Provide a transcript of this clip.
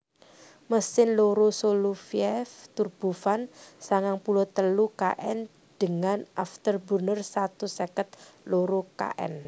Mesin loro Soloviev turbofan sangang puluh telu kN dengan afterburner satus seket loro kN